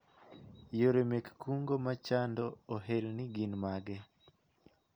Yore mek kungo ma chando ohelni gin mage ?